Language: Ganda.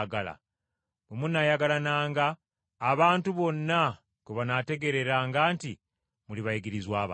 Bwe munaayagalananga abantu bonna kwe banaategeereranga nti muli bayigirizwa bange.”